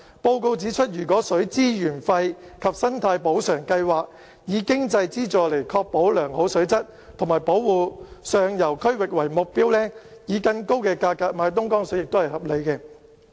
報告指出，如果水資源費及生態補償計劃，以經濟資助來確保良好水質及保護上游區域為目標，以更高價格買東江水也是合理的。